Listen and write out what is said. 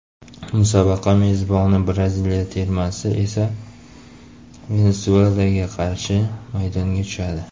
Musobaqa mezboni Braziliya termasi esa Venesuelaga qarshi maydonga tushadi.